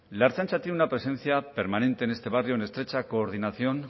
la ertzaintza tiene una presencia permanente en este barrio en estrecha coordinación